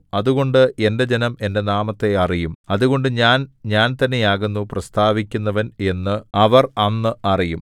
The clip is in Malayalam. അതുകൊണ്ട് എന്റെ ജനം എന്റെ നാമത്തെ അറിയും അതുകൊണ്ട് ഞാൻ ഞാൻ തന്നെയാകുന്നു പ്രസ്താവിക്കുന്നവൻ എന്ന് അവർ അന്ന് അറിയും